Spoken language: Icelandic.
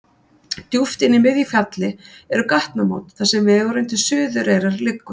Djúpt inni í miðju fjalli eru gatnamót þar sem vegurinn til Suðureyrar liggur.